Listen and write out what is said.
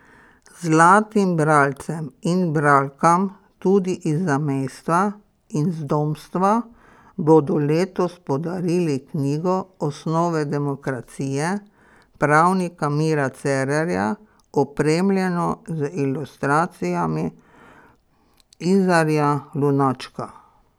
Zlatim bralcem in bralkam, tudi iz zamejstva in zdomstva, bodo letos podarili knjigo Osnove demokracije pravnika Mira Cerarja, opremljeno z ilustracijami Izarja Lunačka.